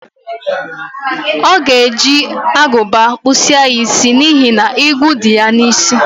O ga-eje aguba kpuchasi ya isi n'ihi na igwu di ya n'isi.